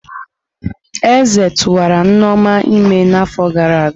Eze tụwara Nneoma ímé n'afọ gara aga.